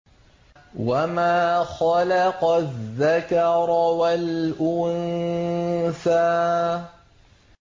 وَمَا خَلَقَ الذَّكَرَ وَالْأُنثَىٰ